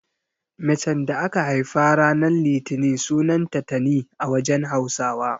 Macen da aka haifa ranan litini sunanta Tani a wajen Hausawa.